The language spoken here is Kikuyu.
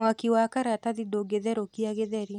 Mwaki wa karatathi ndũngetherũkia gĩtheri.